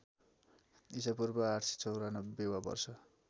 ईपू ८९४ वा वर्ष